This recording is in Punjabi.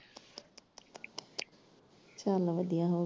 ਚਲ ਵਧੀਆ ਹੋਇਆ।